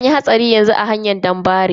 Anyi hatsari yanzu a hanyar danbare.